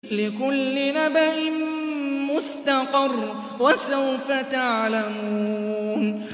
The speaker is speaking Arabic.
لِّكُلِّ نَبَإٍ مُّسْتَقَرٌّ ۚ وَسَوْفَ تَعْلَمُونَ